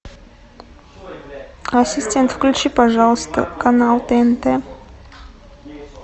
ассистент включи пожалуйста канал тнт